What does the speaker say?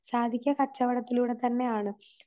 സാധിക്ക കച്ചവടത്തിലൂടെത്തന്നെയാണ്.